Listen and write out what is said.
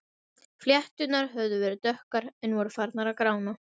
Flétturnar höfðu verið dökkar en voru farnar að grána.